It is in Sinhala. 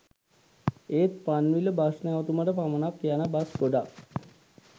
එත් පන්විල බස් නැවතුමට පමනක් යන බස් ගොඩක්